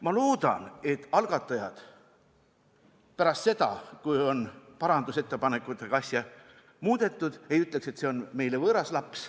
Ma loodan, et algatajad pärast seda, kui parandusettepanekutega on asja muudetud, ei ütle, et see on meile võõras laps.